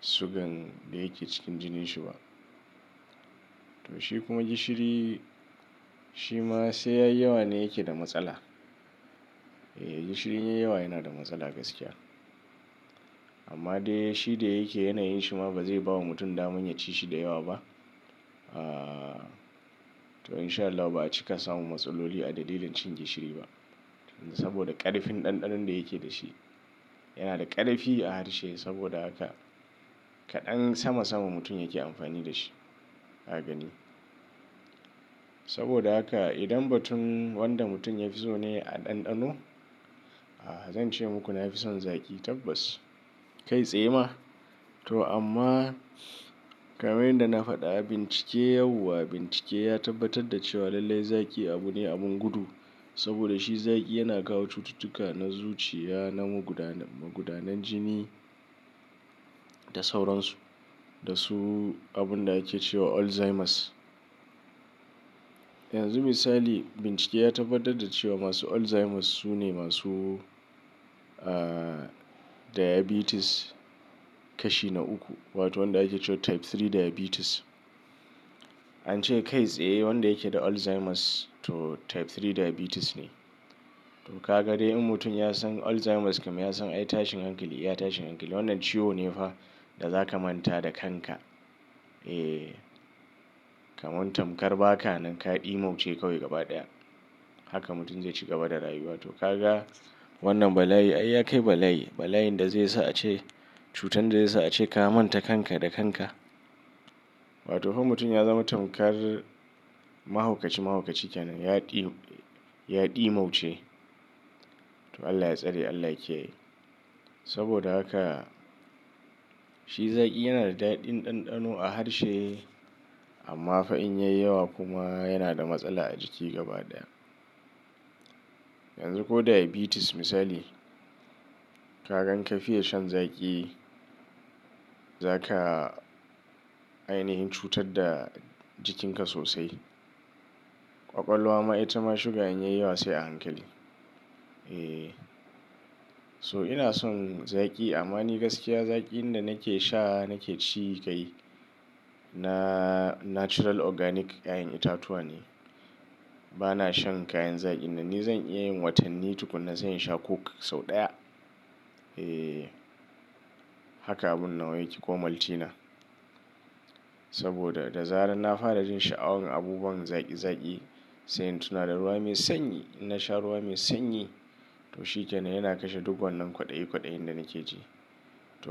sugan da yake cikin jinin shi ba. To shi kuma gishiri shi ma sai yayi yawa ne yake da matsala. Ee gishiri in yai yawa yana da matsala gaskiya. Amma dai shi da yake yanayin shi ma ba zai bawa mutum daman ya ci shi da yawa ba. Aa, to in sha Allahu ba a cika samun matsaloli a dalilin cin gishiri ba. Saboda ƙarfin ɗanɗanon da yake da shi, yana da ƙarfi a harshe saboda haka kaɗan sama-sama mutum yake amfani da shi ka gani. Saboda haka idan batun wanda mutum ya fi so ne a ɗanɗano, zan ce muku na fi son zaƙi tabbas kai tsaye ma. To amma kamar yadda na faɗa bincike yau wa bincike ya tabbatar da cewa lallai zaƙi abu ne abun gudu. Saboda shi zaƙi yana kawo cututtuka na zuciya, na magudanar jini da sauransu da su abun da ake cewa alzheimer's. Yanzu misali bincike ya tabbatar da cewa masu alzheimer's su ne masu, diabetes kashi na uku wato wanda ake cewa type 3 diabetes. An ce kai tsaye wanda yake da alzheimer's to type 3 diabetes ne. To ka ga dai in mutum ya san alzheimer's kam ya san ai tashin hankali iya tashin hankali wannan ciwo ne fa da za ka manta da kanka. Ee, kaman tamkar ba ka nan ka ɗimauce kawai gaba ɗaya. Haka mutum zai ci gaba da rayuwa. To ka ga wannan bala'i ai ya kai bala'i. Bala'in da zai sa a ce cutar da zai sa a ce ka manta kanka da kanka. Wato fa mutum ya zama tamkar mahaukaci-mahaukaci kenan ya ɗi, ya ɗimauce to Allah ya tsare Allah ya kiyaye. Saboda haka shi zaki yana da daɗin ɗanɗano a harshe amma fa in yayi yawa kuma yana da matsala a jiki gaba ɗaya. Yanzu ko diabetes misali, ka gan ka fiya shan zaƙi, za ka ainihin cutar da jikinka sosai. Ƙwaƙwalwa ma ita ma suga in yayi yawa sai a hankali. Eh, so ina son zaƙi amma ni gaskiya zaƙin da nake sha nake ci kai na natural organic ƴaƴan itatuwa ne. Ba na shan kayan zaƙin nan, ni zan iya yin watanni tukuna sai in sha coke sau ɗaya. Ee, haka abun nawa yake ko maltina. Saboda da zarar na fara jin sha'awan abubuwan zaƙi-zaƙi sai in tuna da ruwa mai sanyi. In na sha ruwa mai sanyi to shi kenan yana kashe duk wannan kwaɗayi kwaɗayin da nake ji.